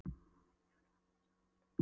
Hann er enginn félagi minn sagði Oddur þver